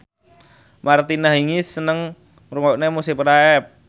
Martina Hingis seneng ngrungokne musik rap